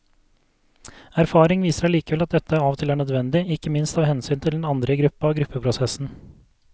Erfaring viser allikevel at dette av og til er nødvendig, ikke minst av hensyn til de andre i gruppa og gruppeprosessen.